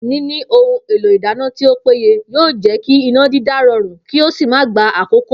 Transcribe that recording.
Níní ohun èlò ìdáná tí ó péye yóò jé̩ kí iná dídá ro̩rùn kí ó sì má gba àkókò